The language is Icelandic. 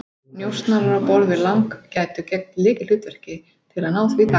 Njósnarar á borð við Lang gætu gegnt lykilhlutverki til að ná því takmarki.